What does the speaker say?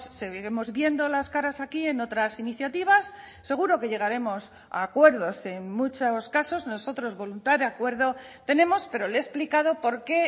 seguiremos viendo las caras aquí en otras iniciativas seguro que llegaremos a acuerdos en muchos casos nosotros voluntad de acuerdo tenemos pero le he explicado porqué